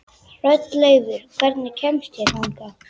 Hrolleifur, hvernig kemst ég þangað?